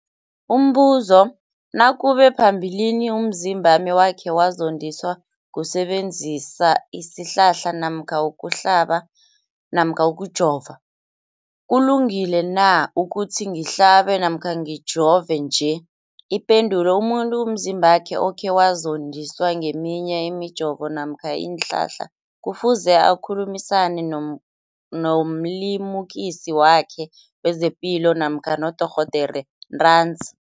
Umbuzo, nakube phambilini umzimbami wakhe wazondiswa kusebenzisa isihlahla namkha ukuhlaba namkha ukujova, kulungile na ukuthi ngihlabe namkha ngijove nje? Ipendulo, umuntu umzimbakhe okhe wazondiswa ngeminye imijovo namkha iinhlahla kufuze akhulumisane nomlimukisi wakhe wezepilo namkha nodorhoderakhe ntanzi.